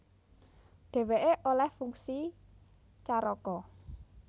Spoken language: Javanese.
Dhèwèké olèh fungsi caraka